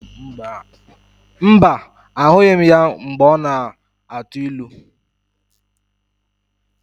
Mba, ahụghị m ya mgbe ọ na-atụ ilu.